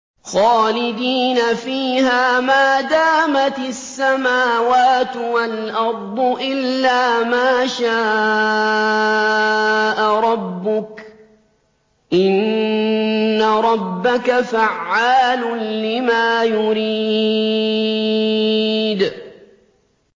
خَالِدِينَ فِيهَا مَا دَامَتِ السَّمَاوَاتُ وَالْأَرْضُ إِلَّا مَا شَاءَ رَبُّكَ ۚ إِنَّ رَبَّكَ فَعَّالٌ لِّمَا يُرِيدُ